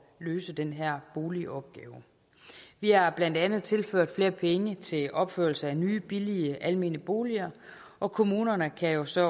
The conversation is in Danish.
løse den her boligopgave vi har blandt andet tilført flere penge til opførelse af nye billige almene boliger og kommunerne kan jo så